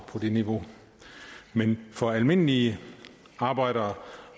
på det niveau men for almindelige arbejdere